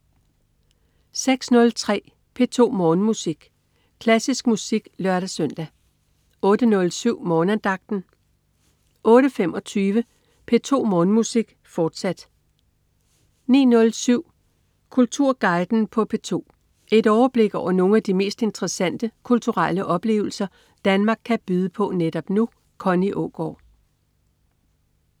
06.03 P2 Morgenmusik. Klassisk musik (lør-søn) 08.07 Morgenandagten 08.25 P2 Morgenmusik, fortsat 09.07 Kulturguiden på P2. Et overblik over nogle af de mest interessante kulturelle oplevelser Danmark kan byde på netop nu. Connie Aagaard